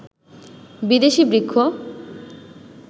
বিদেশি বৃক্ষ